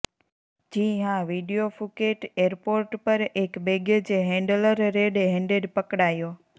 જી હાં video Phuket airport પર એક બેગેજ હૈંડલર રેડ હેન્ડેડ પકડાયો